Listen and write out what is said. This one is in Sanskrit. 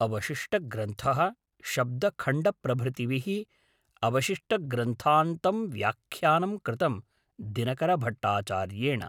अवशिष्टग्रन्थः शब्दखण्डप्रभृतिः अवशिष्टग्रन्थान्तं व्याख्यानं कृतं दिनकरभट्टाचार्येण